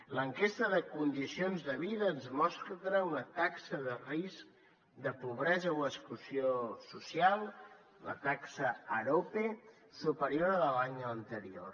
l’enquesta de condicions de vida ens mostra una taxa de risc de pobresa o exclusió social la taxa arope superior a la de l’any anterior